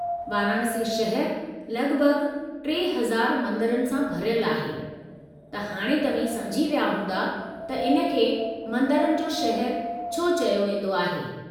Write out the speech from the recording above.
वाराणसी शहर लगि॒भगि॒ 3000 मंदरनि सां भरियलु आहे, त हाणे तव्हीं समुझी विया हूंदा त इन खे 'मंदिरनि जो शहरु' छो चयो वींदो आहे।